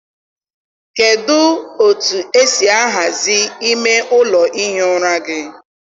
kedụ otu esi ahazi ime ụlọ ihi ụra gị?